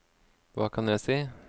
hva kan jeg si